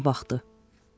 Diqqətlə baxdı.